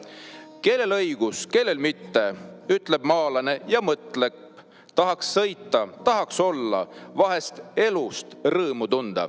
"Kellel õigus, kellel mitte?" ütleb maalane ja mõtleb: "Tahaks sõita, tahaks olla, vahest elust rõõmu tunda."